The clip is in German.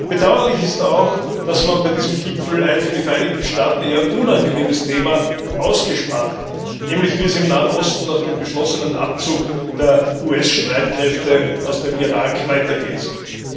Bedauerlich ist auch, dass man bei diesem Gipfel ein für die Vereinigten Staaten eher unangenehmes Thema ausgespart hat, nämlich wie es im Nahen Osten nach dem beschlossenen Abzug der US Streitkräfte aus dem Irak weitergehen soll.